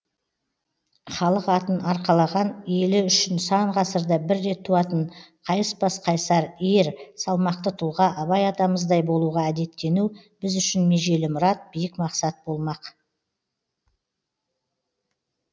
халық атын арқалаған елі үшін сан ғасырда бір рет туатын қайыспас қайсар ер салмақты тұлға абай атамыздай болуға әдеттену біз үшін межелі мұрат биік мақсат болмақ